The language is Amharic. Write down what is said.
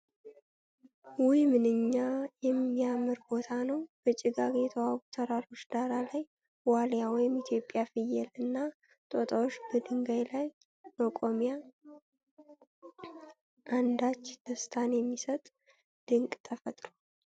ውይ! ምንኛ የሚያምር ቦታ ነው! በጭጋግ የተዋቡት ተራሮች ዳራ ላይ፣ ዋልያ (ኢትዮጵያዊ ፍየል) እና ጦጣዎች በድንጋይ ላይ መቆሚያ! አንዳች ደስታን የሚሰጥ ድንቅ ተፈጥሮ!